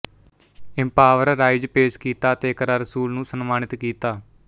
empower rise ਪੇਸ਼ ਕੀਤਾ ਅਤੇ ਇਕਰਾ ਰਸੂਲ ਨੂੰ ਸਨਮਾਨਿਤ ਕੀਤਾ